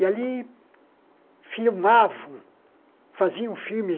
E ali filmavam, faziam filmes